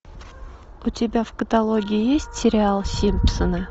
у тебя в каталоге есть сериал симпсоны